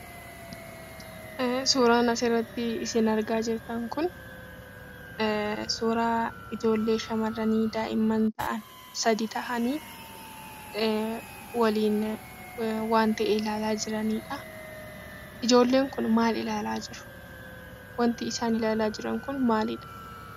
Suuraan asirratti isin argaa jirtan kun, suuraa ijoollee shamarranii daa'imman ta'an, sadi ta'anii waliin waan ta'e ilaalaa jiranidhaa. Ijoolleen kun maal ilaalaa jiru? Wanti isaan ilaalaa jiran kun maalidha?